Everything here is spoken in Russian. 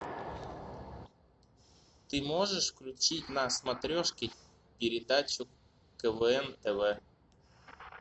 ты можешь включить на смотрешке передачу квн тв